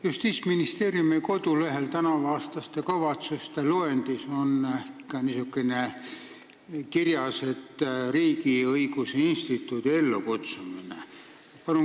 Justiitsministeeriumi kodulehel on tänavuaastaste kavatsuste loendis kirjas ka riigiõiguse instituudi ellukutsumine.